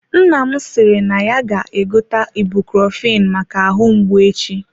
Nna m sịrị na ya ga-egote ibucrofen maka ahụ mgbu echi.